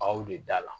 Baw de da la